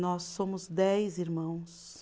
Nós somos dez irmãos.